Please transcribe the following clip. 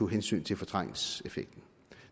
hensyn til fortrængningseffekten